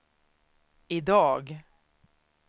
idag